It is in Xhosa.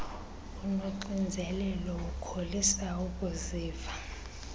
unoxinzelelo ukholisa ukuziva